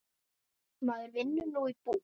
Maður vinnur nú í búð.